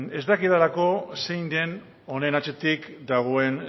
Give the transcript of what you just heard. ez dakidalako zein den honen atzetik dagoen